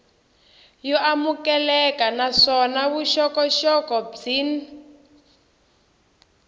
yo amukeleka naswona vuxokoxoko byin